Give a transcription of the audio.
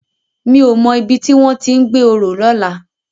Mi ó mò ibi tiwòn ti n gbé óró lòlá